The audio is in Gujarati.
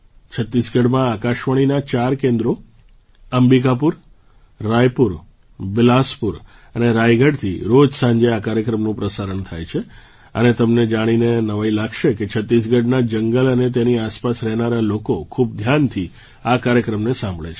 છત્તીસગઢમાં આકાશવાણીનાં ચાર કેન્દ્રો અંબિકાપુર રાયપુર બિલાસપુર અને રાયગઢથી રોજ સાંજે આ કાર્યક્રમનું પ્રસારણ થાય છે અને તમને જાણીને નવાઈ લાગશે કે છત્તીસગઢનાં જંગલ અને તેની આસપાસ રહેનારા લોકો ખૂબ ધ્યાનથી આ કાર્યક્રમને સાંભળે છે